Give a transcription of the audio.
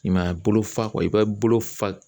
I m'a ye bolo fa i b'a bolo fa